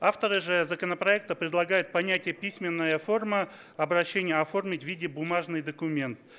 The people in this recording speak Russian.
авторы же законопроекта предлагают понятие письменная форма обращения оформить в виде бумажный документ